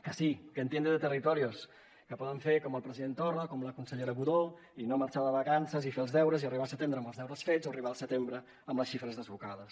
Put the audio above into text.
que sí que entiende de territorios que poden fer com el president torra com la consellera budó i no marxar de vacances i fer els deures i arribar al setembre amb els deures fets arribar al setembre amb les xifres desbocades